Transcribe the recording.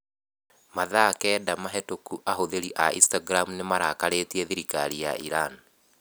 Mathaa kenda mahĩtũku ahũthĩri a Instagram nĩ marakarĩtie thirikari ya Iran.